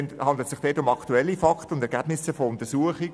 Es handelt sich um aktuelle Fakten und Ergebnisse von Untersuchungen.